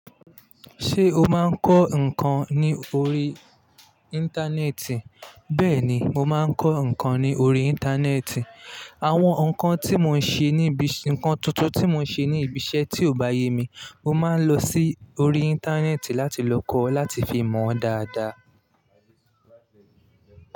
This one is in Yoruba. Ṣé o máa ń kọ́ nǹkan ní orí Íńtánẹ́ẹ̀tì? Bẹ́ẹ̀ni, mo máa ń kọ́ nǹkan ní orí Íńtánẹ́ẹ̀tì. Àwọn nǹkan tí mo ń ṣe níbi, ǹkan tuntun tí mo ń ṣe ní ibi iṣẹ́ tí ò bá yẹ mi, mo máa ń lọ sí orí Íńtánẹ́ẹ̀tì láti lọ kọ́ láti fi mọ̀ ọ́n dáadáa.